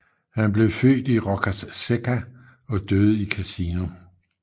Han blev født i Roccasecca og døde i Cassino